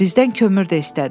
Bizdən kömür də istədi.